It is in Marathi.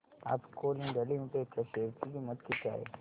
आज कोल इंडिया लिमिटेड च्या शेअर ची किंमत किती आहे